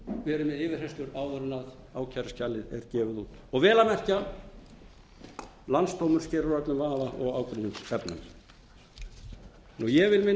verið með yfirheyrslu áður en ákæruskjalið er gefið út og vel að merkja landsdómur sker úr öllum vafa og ágreiningsefnum ég vil minna